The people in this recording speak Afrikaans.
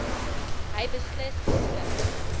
hy beslis beskik